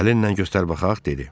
Əlinlə göstər baxaq, dedi.